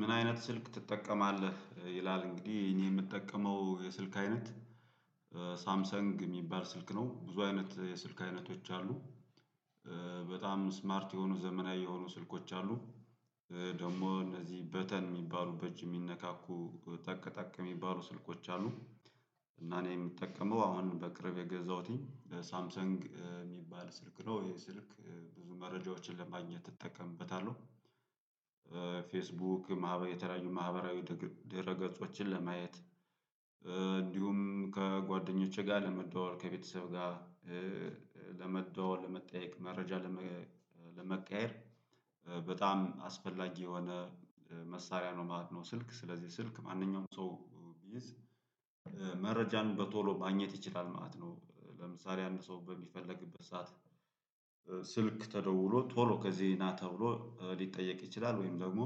ምን አይነት ስልክ ትጠቀማለህ? ይላል እንግዲህ እኔ የምጠቀመው የስልክ አይነት ሳምሰንግ የሚባል ስልክ ነው ብዙ አይነት የስልክ አይነቶች አሉ። በጣም ስማርት የሆኑ ዘመናዊ የሆኑ ስልኮች አሉ። ደግሞ እነዚህ በተን የሚባሉ በጅ የሚነካኩ ጠቅ ጠቅ የሚባሉ ስልኮች አሉ። እና እኔ የምጠቀመው አሁን በቅርብ የገዛሁትኝ ሳምሰንግ የሚባል ስልክ ነው ይሄ ስልክ ብዙ መረጃዎችን ለማግኘት እጠቀምበታለሁ። ፌስቡክ ማህበራዊ የተለያዩ ማህበራዊ ድህረ ገጾችን ለማየት። እንዲሁም ከጓደኞቼ ጋር ለመደዋወል ከቤተሰብ ጋር ለመደዋወል ለመጠየቅ መረጃ ለመ ለመቀያየር በጣም አስፈላጊ የሆነ መሳሪያ ነው ማለት ነው። ስልክ ስለዚህ ስልክ ማንኛውም ሰው መረጃን በቶሎ ማግኘት ይችላል ማለት ነው። ለምሳሌ አንድ ሰው በሚፈልግበት ሰዓት ስልክ ተደውሎ ቶሎ ከዚህ ና ተብሎ ሊጠየቅ ይችላል ወይም ደግሞ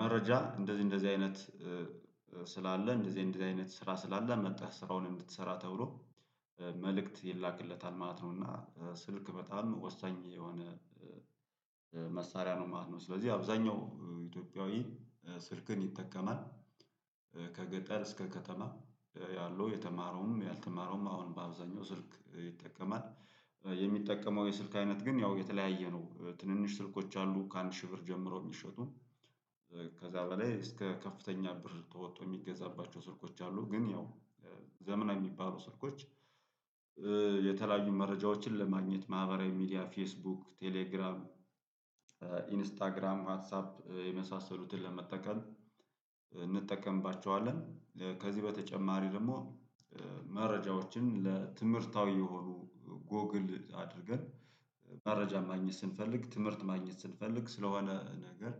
መረጃ እንደዚህ እንደዚህ አይነት ስላለ እንደዚህ አይነት ስራ ስላለ መጥተህ ስራውን እንድትሰራ ተብሎ መልእክት ይላክለታል ማለት ነው። እና ስልክ በጣም ወሳኝ የሆነ መሳሪያ ነው ማለት ነው። ስለዚህ አብዛኛው ኢትዮጵያዊ ስልክን ይጠቀማል ከገጠር እስከ ከተማ ያለው የተማረውም ያልተማረውም አሁን በአብዛኛው ስልክ ይጠቀማል። የሚጠቀመው የስልክ አይነት ግን ያው የተለያየ ነው ትንንሽ ስልኮች አሉ ከአንድ ሺህ ብር ጀምሮ የሚሸጡ ከዛ በላይ እስከ ከፍተኛ ብር ተወጥቶ የሚገዛባቸው ስልኮች አሉ። ግን ያው ዘመናዊ የሚባሉ ስልኮች የተለያዩ መረጃዎችን ለማግኘት ማህበራዊ ሚዲያ ፌስቡክ ቴሌግራም ኢንስታግራም ዋትሳፕ የመሳሰሉትን ለመጠቀም እንጠቀምባቸዋለን። ከዚህ በተጨማሪ ደግሞ መረጃዎችን ለትምህርታዊ የሆኑ ጎግል አድርገን መረጃ ማግኘት ስንፈልግ ትምህርት ማግኘት ስንፈልግ ስለሆነ ነገር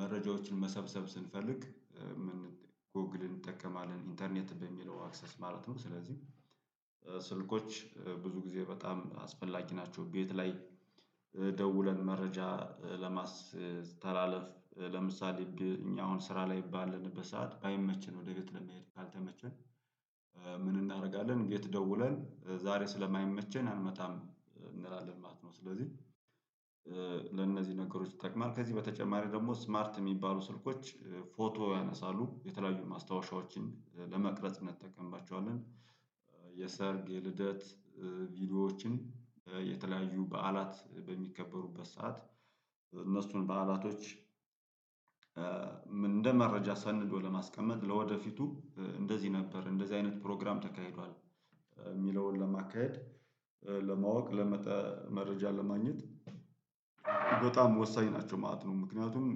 መረጃዎችን መሰብሰብ ስንፈልግ ምን ጎግል እንጠቀማለን ኢንተርኔት በሚለው አክሰስ ማለት ነው። ስለዚህ ስልኮች ብዙ ጊዜ በጣም አስፈላጊ ናቸው። ቤት ላይ ደውለን መረጃ ለማስተላለፍ ለምሳሌ እኛ አሁን ስራ ላይ ባለንበት ሰዓት ባይመችን ወደ ቤት ለመሄድ ካልተመቸንን ምን እናደርጋለን ቤት ደውለን ዛሬ ስለማይመቸን አንመጣም እንላለን ማለት ነው። ስለዚህ ለነዚህ ነገሮች ይጠቅማል ከዚህ በተጨማሪ ደግሞ ስማርት የሚባሉ ስልኮች ፎቶ ያነሳሉ የተለያዩ ማስታወሻዎችን ለመቅረጽነት እንጠቀምባቸዋለን። የሰርግ የልደት ቪዲዮዎችን የተለያዩ በዓላት በሚከበሩበት ሰዓት እነሱን በዓላቶች እንደ መረጃ ሰንዶ ለማስቀመጥ ለወደፊቱ እንደዚህ ነበር እንደዚህ አይነት ፕሮግራም ተካሂዷል። የሚለውን ለማካሄድ ለማወቅ መረጃ ለማግኘት በጣም ወሳኝ ናቸው። ማት ነው ምክንያቱም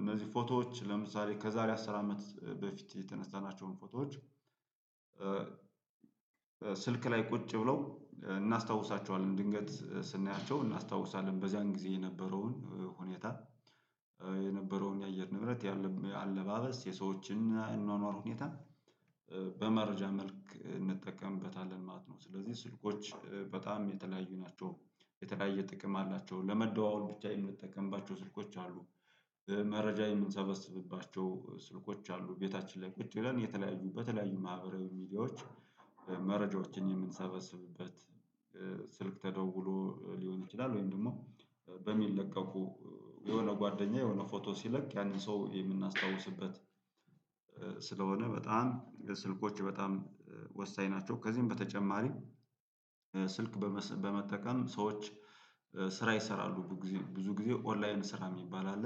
እነዚህ ፎቶዎች ለምሳሌ ከዛሬ አስር አመት በፊት የተነሳናቸውን ፎቶዎች። ስልክ ላይ ቁጭ ብለው እናስታውሳቸዋለን ድንገት ስናያቸው እናስታውሳለን በዚያን ጊዜ የነበረውን ሁኔታ የነበረውን የአየር ንብረት አለባበስ የሰዎችን እኗኗር ሁኔታ በመረጃ መልክ እንጠቀምበታለን ማለት ነው። ስለዚህ ስልኮች በጣም የተለያዩ ናቸው። የተለያየ ጥቅም አላቸው ለመደዋወል ብቻ የምንጠቀምባቸው ስልኮች አሉ። መረጃ የምንሰበስብባቸው ስልኮች አሉ ቤታችን ላይ ቁጭ ብለን የተለያዩ በተለያዩ ማህበራዊ ሚዲያዎች መረጃዎችን የምንሰበስብበት ስልክ ተደውሎ ሊሆን ይችላል። ወይም ደግሞ በሚለቀቁ የሆነ ጓደኛ የሆነ ፎቶ ሲለቅ ያንን ሰው የምናስታውስበት ስለሆነ በጣም ስልኮች በጣም ወሳኝ ናቸው። ከዚህም በተጨማሪም ስልክ በመጠቀም ሰዎች ስራ ይሰራሉ ብዙ ጊዜ ብዙ ጊዜ ኦንላይን ስራ የሚባል አለ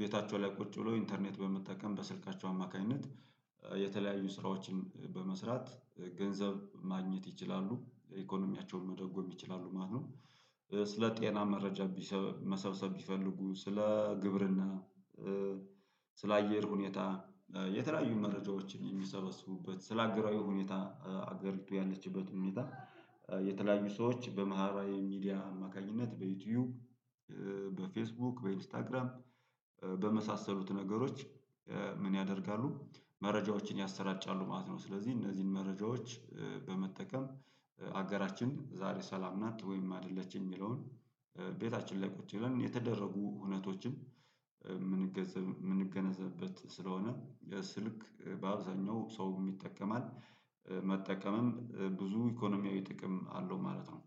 ቤታቸው ላይ ቁጭ ብሎ ኢንተርኔት በመጠቀም በስልካቸው አማካኝነት የተለያዩ ስራዎችን በመስራት ገንዘብ ማግኘት ይችላሉ ኢኮኖሚያቸውን መደጎም ይችላሉ ማለት ነው። ስለ ጤና መረጃ መሰብሰብ ቢፈልጉ ስለ ግብርና ስለ አየር ሁኔታ የተለያዩ መረጃዎችን የሚሰበስቡበት ስለ አገራዊ ሁኔታ አገሪቱ ያለችበት ሁኔታ የተለያዩ ሰዎች በማህበራዊ ሚዲያ አማካኝነት በዩቲዩብ በፌስቡክ በኢንስታግራም በመሳሰሉት ነገሮች ምን ያደርጋሉ መረጃዎችን ያሰራጫሉ ማለት ነው። ስለዚህ እነዚህን መረጃዎች በመጠቀም ሀገራችን ዛሬ ሰላም ናት ወይም አይደለችም የሚለውን ቤታችን ላይ ቁጭ ብለን የተደረጉ ሁነቶችን የምንገነዘብበት ስለሆነ የስልክ በአብዛኛው ሰውም ይጠቀማል። መጠቀምም ብዙ ኢኮኖሚያዊ ጥቅም አለው ማለት ነው።